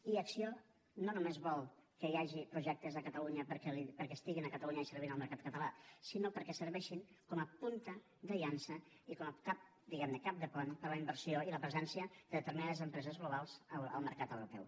i acció no només vol que hi hagi projectes a catalunya perquè estiguin a catalunya i servint el mercat català sinó perquè serveixin com a punta de llança i com a cap diguem ne de pont per a la inversió i la presencia de determinades empreses globals al mercat europeu